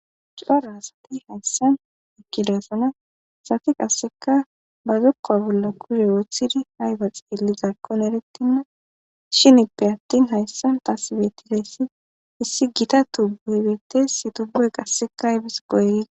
Cora asati hayssan ekkilesana safi qasseka ba zokkoa bolla kuse woothidi hayfaxeelli zaakkon erettinna shinippe attin hayssan tasibettideyssi issi gita tubbu hebetess tubbue qasseka hybis goygiza.